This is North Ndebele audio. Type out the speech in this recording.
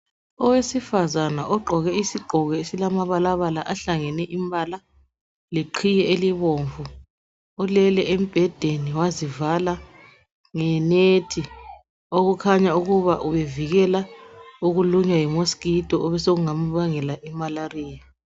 Owesifazana ogqoke isigqoko esilamabalabala ahlangene imbala leqhiye elibomvu ulele embhedeni wazivala ngenethi okukhanya ukubana ubevikela ukulunywa yiminyane ukungasambangela umkhuhlane woqhuqho.